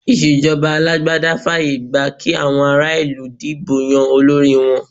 Ìṣèjọba alágbádá fààyè gba kí àwọn ará-ìlú dìbò yan olórí wọn.